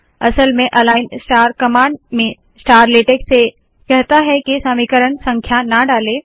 असल में aligned star command में स्टार लेटेक से कहता है के समीकरण संख्या ना डाले